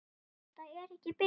Þetta er ekki bið.